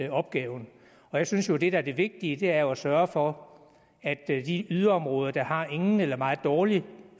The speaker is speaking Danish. af opgaven jeg synes jo det er det vigtige er at sørge for at de yderområder der har ingen eller en meget dårlig